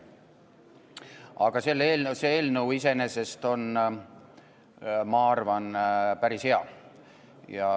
Aga see eelnõu iseenesest on, ma arvan, päris hea.